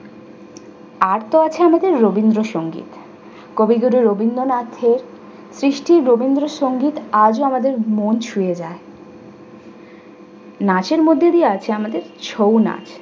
আর তো আছে আমাদের রবীন্দ্র সংগীত। কবিগুরু রবীন্দ্রনাথের সৃষ্টি রবীন্দ্র সংগীত আজও আমাদের মন ছুঁয়ে যায় নাচের মধ্যে দিয়ে আছে আমাদের ছৌ নাচ।